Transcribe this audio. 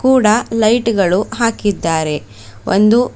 ಕೂಡ ಲೈಟ್ ಗಳು ಹಾಕಿದ್ದಾರೆ ಒಂದು--